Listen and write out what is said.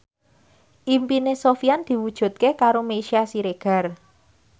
impine Sofyan diwujudke karo Meisya Siregar